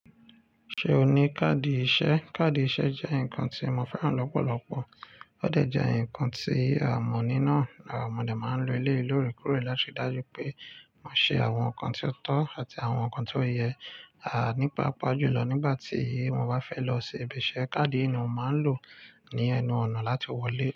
Ṣé o ní káàdì ìṣe? Káàdì ìṣe jẹ́ nǹkan tí mo fẹ́ràn lọ́pọ̀lọ́pọ̀. Ó dẹ̀ jẹ́ ǹkan tí a mọ̀ ní náà. À! Modé máa ń lo eléyi lórekore láti ri dájú pé mo ṣe àwọn ǹkan tí ó tọ́ àti àwọn ǹkan tí ó yẹ. A ní paapà jù lọ nígbà tí mo bá fẹ́ lọ si ibi iṣẹ́, káàdì yi ni mo máa ń lò ní ẹnu ọ̀nà láti wọlé.